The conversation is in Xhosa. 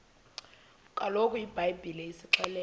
kaloku ibhayibhile isixelela